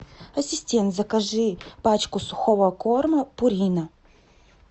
ассистент закажи пачку сухого корма пурина